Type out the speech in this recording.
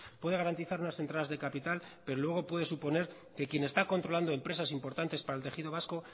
puede garantizar unas entradas de capital pero luego puede suponer que quién está controlando empresas importantes para el tejido vasco